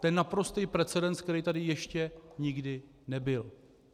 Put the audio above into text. To je naprostý precedens, který tady ještě nikdy nebyl.